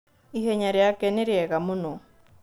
Ihenya rĩake nĩrĩega mũno.